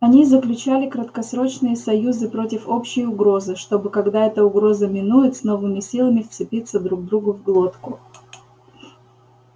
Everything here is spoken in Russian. они заключали краткосрочные союзы против общей угрозы чтобы когда эта угроза минует с новыми силами вцепиться друг другу в глотку